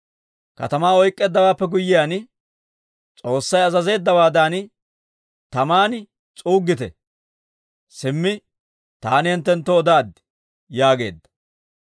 Katamaa oyk'k'eeddawaappe guyyiyaan, S'oossay azazeeddawaadan taman s'uuggite. Simmi taani hinttenttoo odaaddi» yaageedda.